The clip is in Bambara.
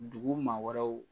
Dugu maa wɛrɛw